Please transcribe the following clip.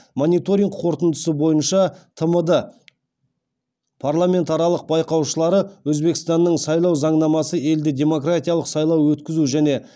мониторинг қорытындысы бойынша тмд парламент аралық байқаушылары өзбекстанның сайлау заңнамасы елде демократиялық сайлау өткізу және